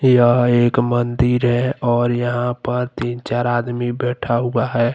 यह एक मंदिर है और यहां पर तीन चार आदमी बैठा हुआ है।